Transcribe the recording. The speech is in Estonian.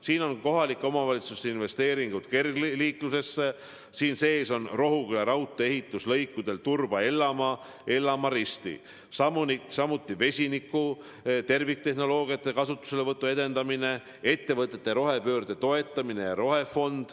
Siin on kohalike omavalitsuste investeeringud kergliiklusteedesse, siin sees on Rohuküla raudtee ehitus lõikudel Turba–Ellamaa ja Ellamaa–Risti, samuti vesiniku terviktehnoloogiate kasutuselevõtu edendamine, ettevõtete rohepöörde toetamine ja rohefond.